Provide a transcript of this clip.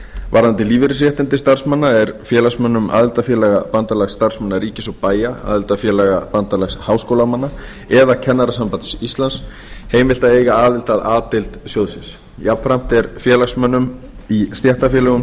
varðandi lífeyrisréttindi starfsmanna er félagsmönnum aðildarfélaga bandalags starfsmanna ríkis og bæja aðildarfélaga bandalags háskólamanna eða kennarasambands íslands heimilt að eiga aðild að a deild sjóðsins jafn ásamt er félagsmönnum í stéttarfélögum